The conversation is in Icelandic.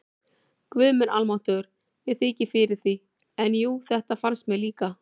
Guð minn almáttugur, mér þykir fyrir því, en jú, þetta fannst mér líka